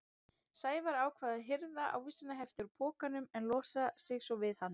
Sævar ákvað að hirða ávísanahefti úr pokanum en losa sig svo við hann.